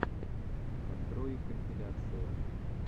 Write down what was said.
открой компиляции